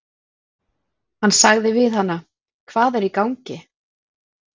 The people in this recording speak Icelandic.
Hann sagði við hana: Hvað er í gangi?